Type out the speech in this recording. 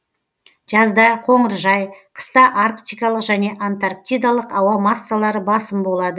жазда қоныржай қыста арктикалық және антарктикалық ауа массалары басым болады